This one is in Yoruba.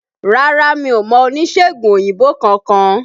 Rárá mi ò mọ oníṣègùn òyìnbó kankan